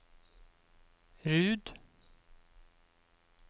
Rud